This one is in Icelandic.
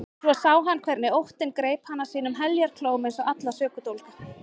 Svo sá hann hvernig óttinn greip hana sínum heljarklóm eins og alla sökudólga.